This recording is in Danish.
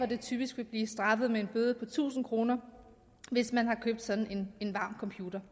det typisk vil blive straffet med en bøde tusind kr hvis man har købt en sådan varm computer